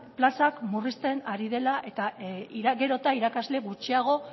plazak murrizten ari dela eta gero eta irakasle gutxiago